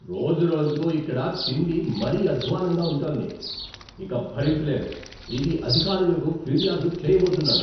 రోజురోజుకూ ఇక్కడ తిండి మరీ అద్ద్వాన్నంగా ఉంటోంది. ఇక భరించలేను, ఇది అధికారులకు ఫిర్యాదు చేయబోతున్నాను.